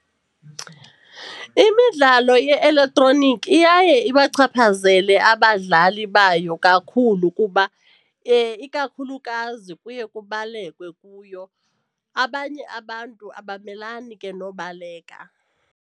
Imidlalo ye-elektroniki iyaye ibachaphazele abadlali bayo kakhulu kuba ikakhulukazi kuye kubalekwe kuyo. Abanye abantu abamelani ke nobaleka.